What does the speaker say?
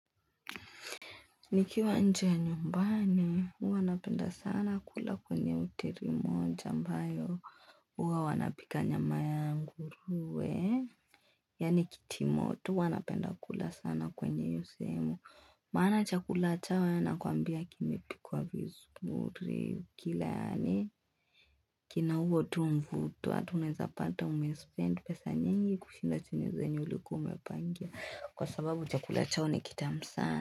Nikiwa nje ya nyumbani, huwa napenda sana kula kwenye hoteli moja ambayo, huwa wanapika nyama ya nguruwe. Yaani kitimoto, huwa napenda kula sana kwenye hiyo sehemu, maana chakula chao yaani nakwambia kimepikwa vizuri, kila yaani, kina huo tu mvuto, hata unaeza pata umespend pesa nyingi kushinda zenye ulikuwa umepangia, kwa sababu chakula chao nikitamu sana.